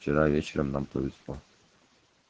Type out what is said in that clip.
вчера вечером нам повезло